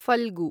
Phalgu